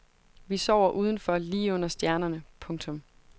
Vi sover udenfor lige under stjernerne. punktum